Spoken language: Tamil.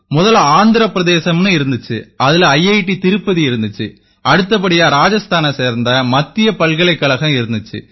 முதல்ல ஆந்திர பிரதேசம்னு இருந்திச்சு இதில ஐஐடி திருப்பதி இருந்திச்சு அடுத்தபடியா ராஜஸ்தானைச் சேர்ந்த மத்திய பல்கலைக்கழகம் இருந்திச்சு